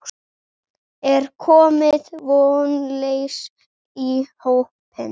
Er komið vonleysi í hópinn?